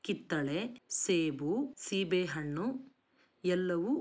ಕಿತ್ತಳೆ ಸೇಬು ಸೀಬೆಹಣ್ಣು ಎಲ್ಲವು--